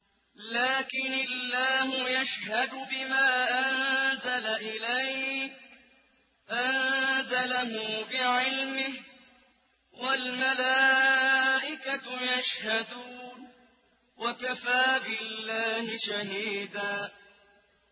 لَّٰكِنِ اللَّهُ يَشْهَدُ بِمَا أَنزَلَ إِلَيْكَ ۖ أَنزَلَهُ بِعِلْمِهِ ۖ وَالْمَلَائِكَةُ يَشْهَدُونَ ۚ وَكَفَىٰ بِاللَّهِ شَهِيدًا